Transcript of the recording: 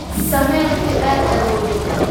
Samee wixii aad awooddo